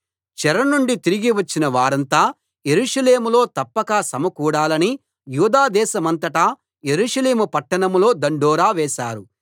చెరనుండి తిరిగి వచ్చిన వారంతా యెరూషలేములో తప్పక సమకూడాలని యూదా దేశమంతటా యెరూషలేము పట్టణంలో దండోరా వేశారు